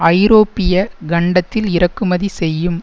ஐரோப்பிய கண்டத்தில் இறக்குமதி செய்யும்